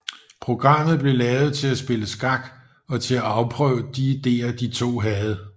Programmet blev lavet til at spille skak og til at afprøve de ideer de to havde